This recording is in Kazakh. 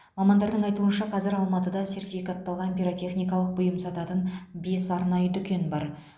мамандардың айтуынша қазір алматыда сертификатталған пиротехникалық бұйым сататын бес арнайы дүкен бар